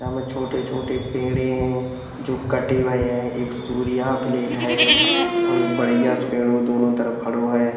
यहाँ में छोटे-छोटे पेड़े हैं जो कटे भए हैं। एक है और एक बढ़ैया सो पेड़ दोनों तरफ खड़ो है।